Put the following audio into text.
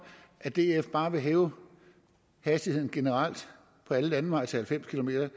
at df bare vil hæve hastigheden generelt på alle landeveje til halvfems kilometer